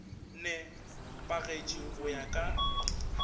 ne pagetše go ya ka